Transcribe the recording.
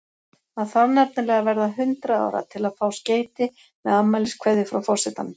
Maður þarf nefnilega að verða hundrað ára til að fá skeyti með afmæliskveðju frá forsetanum.